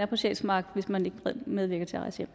på sjælsmark hvis man ikke medvirker til at rejse